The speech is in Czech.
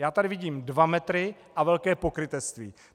Já tady vidím dva metry a velké pokrytectví.